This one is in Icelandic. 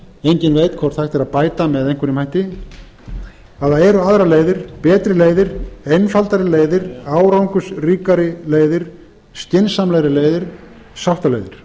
enginn veit hvort hægt er að bæta með einhverjum hætti það eru aðrar leiðir betri leiðir einfaldari leiðir árangursríkari leiðir skynsamlegri leiðir sáttaleiðir